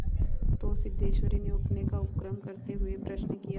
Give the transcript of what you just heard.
तो सिद्धेश्वरी ने उठने का उपक्रम करते हुए प्रश्न किया